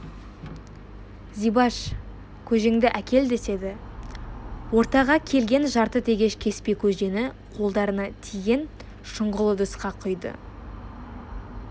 зибаш көжеңді әкел деседі ортаға келген жарты тегеш кеспе көжені қолдарына тиген шұңғыл ыдысқа құйды